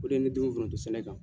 O de ye ne dumun foronto sɛnɛ kan.